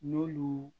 N'olu